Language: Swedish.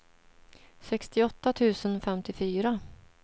sextioåtta tusen femtiofyra